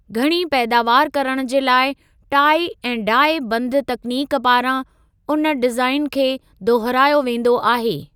घणी पैदावार करण जे लाइ टाई ऐं डाई बंध तकनीक पारां, उन डिज़ाइन खे दोहरायो वेंदो आहे।